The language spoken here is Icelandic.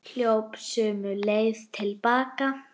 Hljóp sömu leið til baka.